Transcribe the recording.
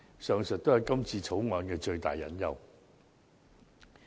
上述都是《條例草案》的最大隱憂。